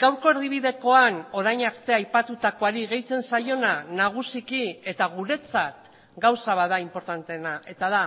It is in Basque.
gaurko erdibidekoan orain arte aipatutakoari gehitzen zaiona nagusiki eta guretzat gauza bat da inportanteena eta da